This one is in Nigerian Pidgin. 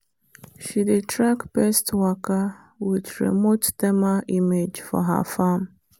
she dey track pest waka with remote thermal image for her farm.